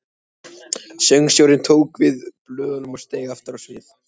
Söngstjórinn tók við blöðunum og steig aftur á svið.